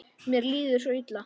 Mér líður svo illa